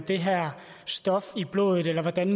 det her stof i blodet eller hvordan